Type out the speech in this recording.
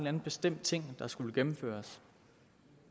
anden bestemt ting skulle gennemføres